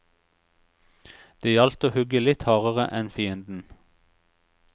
Det gjaldt å hugge litt hardere enn fienden.